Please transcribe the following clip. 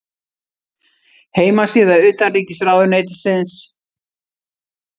Heimasíða utanríkisráðuneytisins.